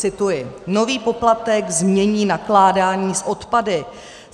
Cituji: Nový poplatek změní nakládání s odpady.